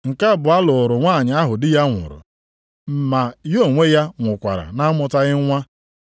Nke abụọ lụrụ nwanyị ahụ di ya nwụrụ, ma ya onwe ya nwụkwara na-amụtaghị nwa.